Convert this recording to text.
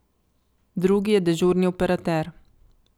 Drugi je dežurni operater.